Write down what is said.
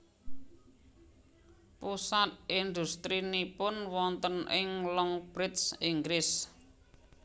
Pusat industrinipun wonten ing Longbridge Inggris